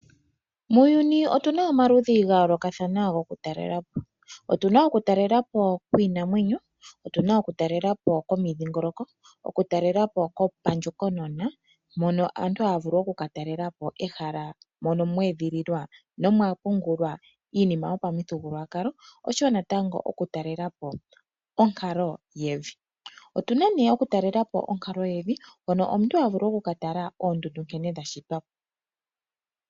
Muuyuni otuna omaludhi gayoolokathana gokutalelapo. Otuna okutalelapo kwiinamwenyo , otuna okutalelapo komindhingoloko, okutalelapo kopandjokonona mono aantu haya vulu okukatalelapo ehala mono mweedhililwa nomwapungulwa iinima yopamithigululwakalo oshowoo natango okutalelapo onkalo yevi . Otuna okutalelapo onkalo yevi hono omuntu havulu okukatala oondundu nkene dhashitwako.